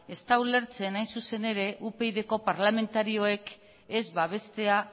ez da ulertzen hain zuzen ere upydko parlamentarioek ez babestea